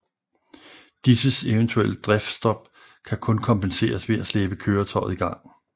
Disses eventuelle driftsstop kan kun kompenseres ved at slæbe køretøjet i gang